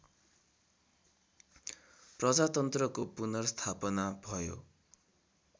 प्रजातन्त्रको पुनर्स्थापना भयो